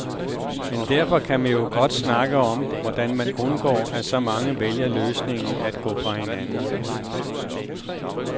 Men derfor kan man jo godt snakke om, hvordan man undgår at så mange vælger løsningen at gå fra hinanden.